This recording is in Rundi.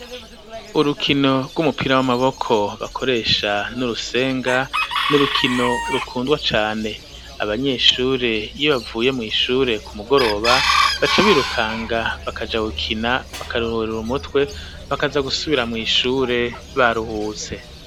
Urukino rw'umupira w'amaboko bakoresha n'urusenga n'urukino rukundwa cane abanyeshure iyo bavuye mw'ishure ku mugoroba baca birukanga bakaja wukina bakarururaura umutwe bakaza gusubira mw'ishure baruhutse.